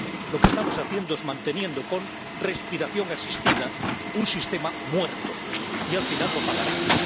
Lo que estamos haciendo es manteniendo con respiración asistida un sistema muerto y, al final, lo pagaremos.